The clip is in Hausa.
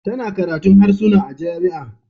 Tana karatun harsuna a jami'a